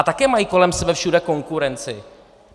A také mají kolem sebe všude konkurenci.